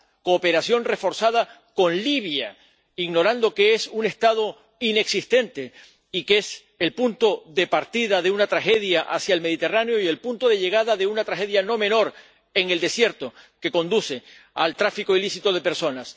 cooperación reforzada con Libia, ignorando que es un Estado inexistente y que es el punto de partida de una tragedia hacia el Mediterráneo y el punto de llegada de una tragedia no menor en el desierto que conduce al tráfico ilícito de personas.